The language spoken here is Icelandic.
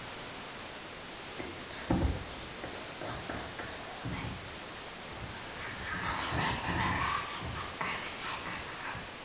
Samband hélst þó áfram.